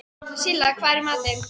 Silla, hvað er í matinn?